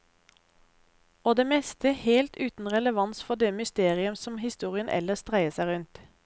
Og det meste helt uten relevans for det mysterium som historien ellers dreier seg rundt.